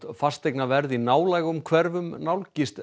fasteignaverð í nálægum hverfum nálgist